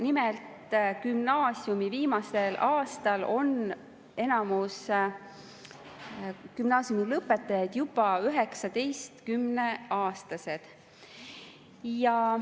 Nimelt, gümnaasiumi viimasel aastal on enamus gümnaasiumilõpetajaid juba 19-aastased.